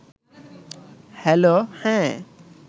হ্যালো…হ্যাঁ